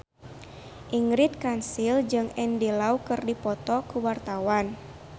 Ingrid Kansil jeung Andy Lau keur dipoto ku wartawan